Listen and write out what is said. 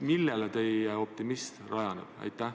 Millel teie optimism rajaneb?